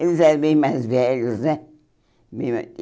Eles eram bem mais velhos, né? Bem mais